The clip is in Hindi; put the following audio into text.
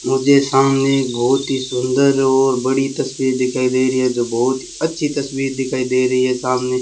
मुझे सामने एक बहुत ही सुंदर और बड़ी तस्वीर दिखाई दे रही है जो बहुत अच्छी तस्वीर दिखाई दे रही है सामने।